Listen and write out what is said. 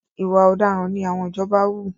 Ìwà ọ̀daràn ni àwọn ìjọba wù.